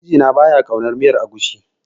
Mijina ba ya ƙaunar miyar agushi.